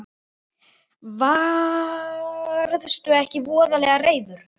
Varðstu ekki voðalega reiður?